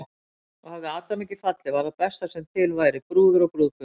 Og hefði Adam ekki fallið væri það besta sem til væri, brúður og brúðgumi.